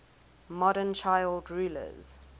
modern child rulers